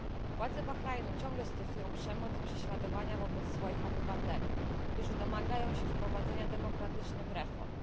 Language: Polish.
Władze Bahrajnu ciągle stosują przemoc i prześladowania wobec swoich obywateli, którzy domagają się wprowadzenia demokratycznych reform.